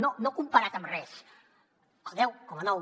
no comparat amb res el deu coma nou